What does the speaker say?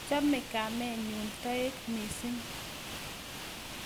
Chome kamenyun toek mising